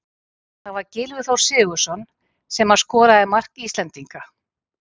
Það var Gylfi Þór Sigurðsson sem að skoraði mark Íslendinga.